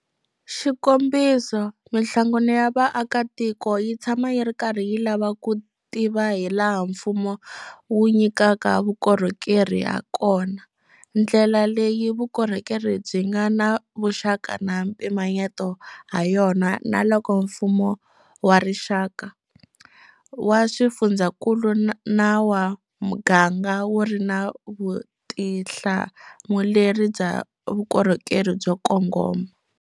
Xikombiso, mihlangano ya vaakatiko yi tshama yi ri karhi yi lava ku tiva hilaha mfumo wu nyikaka vukorhokeri hakona, ndlela leyi vukorhokeri byi nga na vuxaka na mpimanyeto hayona na loko mfumo wa rixaka, wa swifundzankulu na wa muganga wu ri na vutihlamuleri bya vukorhokeri byo kongoma.